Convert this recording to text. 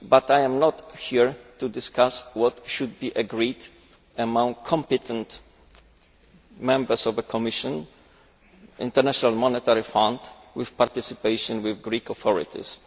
However, I am not here to discuss what should be agreed among competent Members of the Commission and the International Monetary Fund with the participation of the Greek authorities.